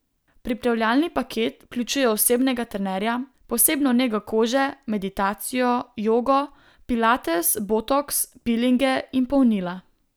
Pripravljalni paket vključuje osebnega trenerja, posebno nego kože, meditacijo, jogo, pilates, botoks, pilinge in polnila.